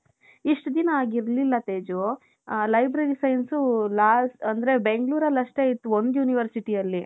ಇಷ್ಟು ದಿನ ಹಾಗಿರಲಿಲ್ಲ ತೇಜು ಆ library science last ಅಂದ್ರೆ ಬೆಂಗಳೂರಲ್ಲಿ ಅಷ್ಟೆ ಇತ್ತು ಒಂದ್ universityಯಲ್ಲಿ.